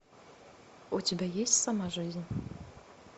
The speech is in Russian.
у тебя есть сама жизнь